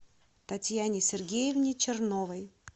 татьяне сергеевне черновой